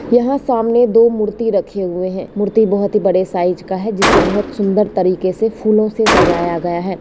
यहाँ सामने दो मूर्ति रखे हुए हैं मूर्ति बहुत बड़े साइज का है जिसे बहुत सुंदर तरीके से फूलो से सजाया गया हैं।